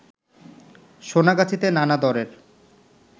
সোনাগাছিতে নানা দরের